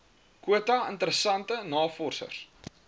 kwota interessante navorsers